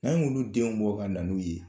An y'olu ldenw bɔ ka na ye